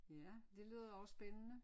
Ja det lyder også spændende